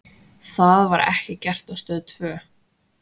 Það var ekki gert á Stöð tvö.